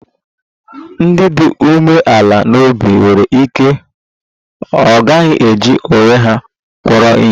Ndị dị umeala n'obi nwere ike ọ gaghị eji onwe ha kpọrọ ihe